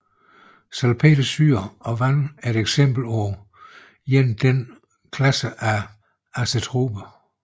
Salpetersyre og vand er et eksempel på en denne klasse af azetroper